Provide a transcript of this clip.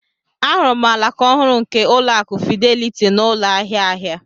Ahụrụ m alaka ọhụrụ nke Ụlọakụ Fidelity n'ụlọ ahịa ahịa.